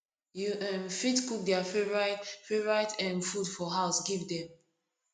you um fit cook their favourite favourite um food for house give them